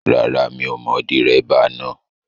Rárá mi ò mọ dẹ́ríbà náà